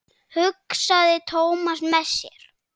hugsaði Thomas með sér.